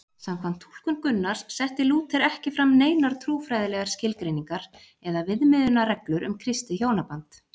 Samkvæmt túlkun Gunnars setti Lúther ekki fram neinar trúfræðilegar skilgreiningar eða viðmiðunarreglur um kristið hjónaband.